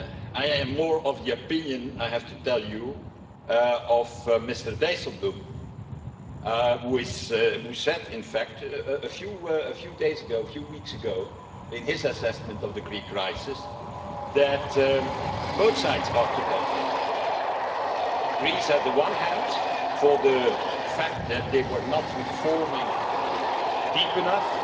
I am more of the opinion of Mr Dijsselbloem who said, a few weeks ago in his assessment of the Greek crisis, that both sides were to blame Greece, on the one hand, for not reforming deeply enough